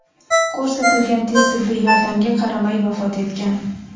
ko‘rsatilgan tez tibbiy yordamga qaramay vafot etgan.